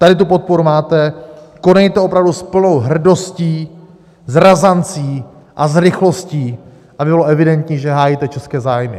Tady tu podporu máte, konejte opravdu s plnou hrdostí, s razancí a s rychlostí, aby bylo evidentní, že hájíte české zájmy.